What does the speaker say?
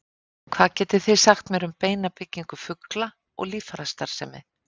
Hvað getið þið sagt mér um beinabyggingu fugla og líffærastarfsemi?